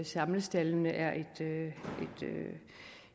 samlestaldene er et